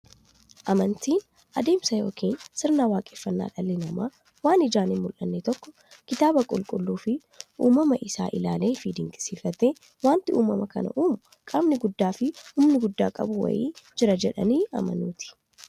Amantiin adeemsa yookiin sirna waaqeffannaa dhalli namaa waan ijaan hinmullanne tokko kitaaba qulqulluufi uumama isaa isaa ilaaleefi dinqisiifatee, wanti uumama kana uumu qaamni guddaafi humna guddaa qabu wa'ii jira jedhanii amanuuti.